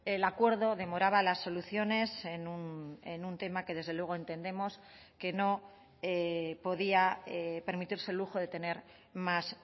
el acuerdo demoraba las soluciones en un tema que desde luego entendemos que no podía permitirse el lujo de tener más